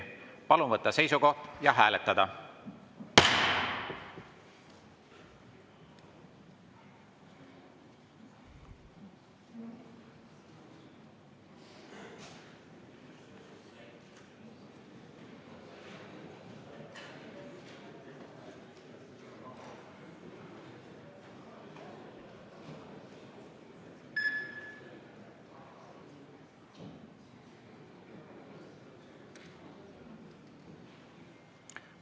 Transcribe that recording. Palun võtta seisukoht ja hääletada!